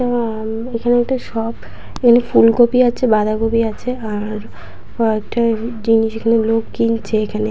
আ এইখানে একটা শপ এইখানে ফুলকপি আছে বাঁধাকপি আছে আর কয়েকটা জিনিস এখানে লোক কিনছে এখানে।